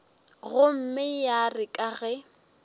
gomme ya re ka ge